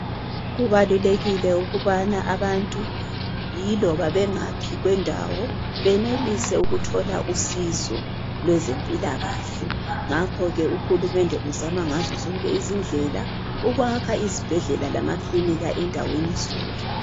Kubalulelikile ukubana abantu yiloba bengaphi kwendawo benelise ukuthola usizo lwezempilakahle ngakho ke uhulumende uzama ngazo zonke izindlela ukwakha izibhedlela lamakilinika endaweni zonke .